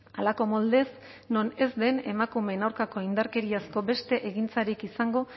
halako moldez non ez den emakumeen aurkako indarkeriazko beste egintzarik izango